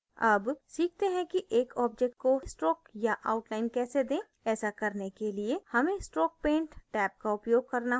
अब सीखते हैं कि एक object को stroke या outline कैसे दें ऐसा करने के लिए हमें stroke paint टैब का उपयोग करना होगा